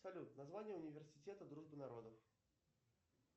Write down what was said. салют название университета дружбы народов